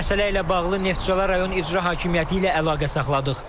Məsələ ilə bağlı Neftçala rayon İcra Hakimiyyəti ilə əlaqə saxladıq.